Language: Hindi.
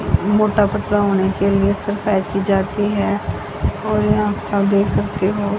मोटा पतला होने के लिए एक्सरसाइज की जाती है और यहा आप देख सकते हो --